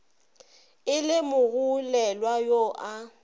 e le mogolelwa yo a